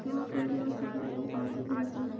यहाँ पर बहोत सारे लोग आते रहते हैं।